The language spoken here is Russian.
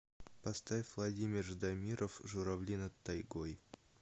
поставь владимир ждамиров журавли над тайгой